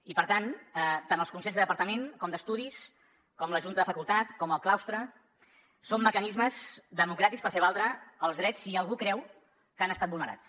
i per tant tant els consells de departament com d’estudis com la junta de facultat com el claustre són mecanismes democràtics per fer valdre els drets si algú creu que han estat vulnerats